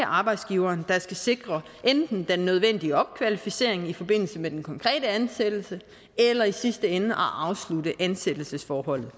arbejdsgiveren der skal sikre enten den nødvendige opkvalificering i forbindelse med den konkrete ansættelse eller i sidste ende afslutte ansættelsesforholdet